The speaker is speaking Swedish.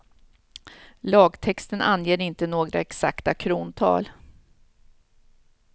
Lagtexten anger inte några exakta krontal.